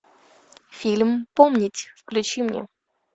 фильм помнить включи мне